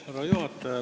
Härra juhataja!